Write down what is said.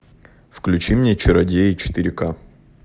включи мне чародеи четыре ка